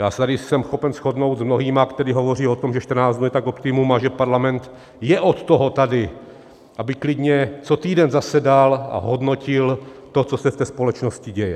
Já se tady jsem schopen shodnout s mnohými, kteří hovoří o tom, že 14 dnů je tak optimum a že Parlament je od toho tady, aby klidně co týden zasedal a hodnotil to, co se v té společnosti děje.